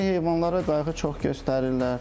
İndi heyvanlara qayğı çox göstərirlər.